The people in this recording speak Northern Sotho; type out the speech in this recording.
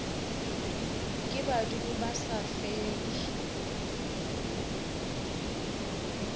ke badimo ba sa fele